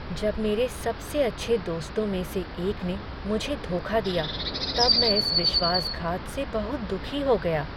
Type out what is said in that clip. जब मेरे सबसे अच्छे दोस्तों में से एक ने मुझे धोखा दिया तब मैं इस विश्वासघात से बहुत दुखी हो गया।